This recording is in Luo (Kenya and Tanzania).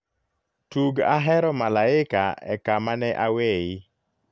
tug ahero malaika e kama ne aweyi